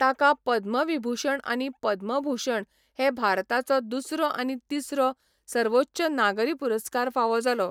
ताका 'पद्मविभूषण' आनी 'पद्मभूषण' हे भारताचो दुसरो आनी तिसरो सर्वोच्च नागरी पुरस्कार फावो जालो.